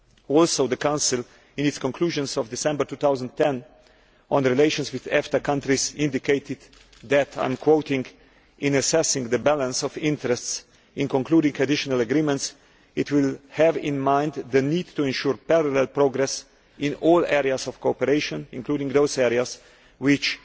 Also the Council, in its conclusions of December 2010 on the relations with EFTA countries, indicated that, in assessing the balance of interests in concluding additional agreements, it will have in mind the need to ensure parallel progress in all areas of cooperation, including those areas which